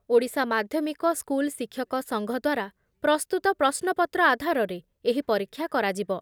ଓଡ଼ିଶା ମାଧ୍ଯମିକ ସ୍କୁଲ ଶିକ୍ଷକ ସଂଘ ଦ୍ବାରା ପ୍ରସ୍ତୁତ ପ୍ରଶ୍ନପତ୍ର ଆଧାରରେ ଏହି ପରୀକ୍ଷା କରାଯିବ ।